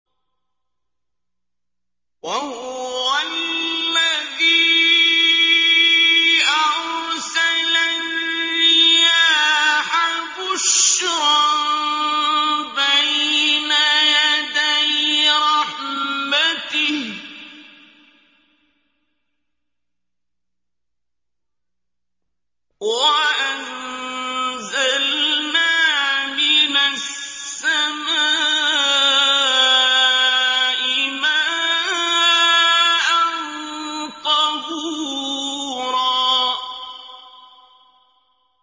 وَهُوَ الَّذِي أَرْسَلَ الرِّيَاحَ بُشْرًا بَيْنَ يَدَيْ رَحْمَتِهِ ۚ وَأَنزَلْنَا مِنَ السَّمَاءِ مَاءً طَهُورًا